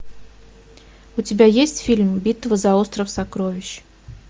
у тебя есть фильм битва за остров сокровищ